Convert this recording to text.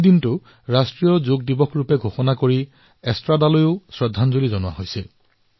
সেই দিনটো ৰাষ্ট্ৰীয় যোগ দিৱস হিচাপে ঘোষণা কৰি তেওঁক শ্ৰদ্ধাঞ্জলি জনোৱা হৈছে